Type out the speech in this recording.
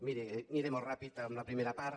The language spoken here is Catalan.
miri aniré molt ràpidament amb la primera part